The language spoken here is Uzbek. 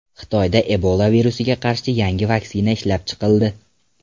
Xitoyda Ebola virusiga qarshi yangi vaksina ishlab chiqildi.